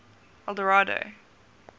eldorado